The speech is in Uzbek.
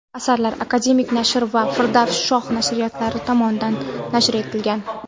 Asarlar "Akademnashr" va "Firdavs – shoh" nashriyotlari tomonidan nashr etilgan.